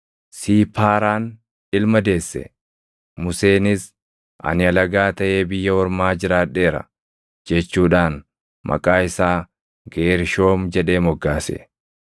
Siipaaraan ilma deesse; Museenis, “Ani alagaa taʼee biyya ormaa jiraadheera” jechuudhaan maqaa isaa Geershoom jedhee moggaase.